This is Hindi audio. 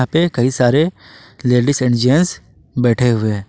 ये कई सारे लेडिस एंड जेंट्स बैठे हुए।